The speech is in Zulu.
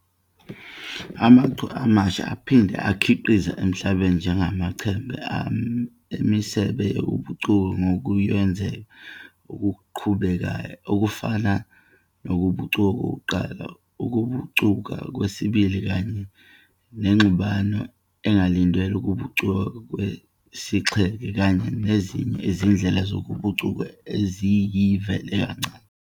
Amachwe amasha aphinde akhiqizeke emhlabeni njengamaChembe wemisebe yokubucuka kokuyonzeka okuqhubekayo okufana nokubucuka kokuqala, ukubucuka kwesibili Kanye nengxubano engalindelwe, ukubucuka kwesixheke kanye nezinye izindlela zokubucuka eziyivela kancane.